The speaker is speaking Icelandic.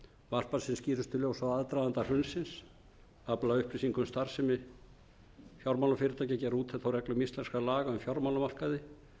varpa sem skýrustu ljósi á aðdraganda hrunsins afla upplýsinga um starfsemi fjármálafyrirtækja gera úttekt á reglum íslenskra laga um fjármálamarkaði